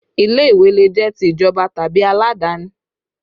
Ilé ìwé le jẹ́ ti ìjọba tàbí aladani